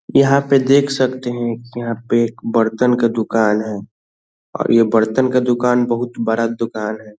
यहाँ पे देख सकते है यहाँ पे एक बर्तन के दूकान है और ये बर्तन के दूकान बहुत बड़ा दूकान है।